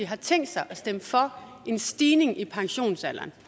har tænkt sig at stemme for en stigning i pensionsalderen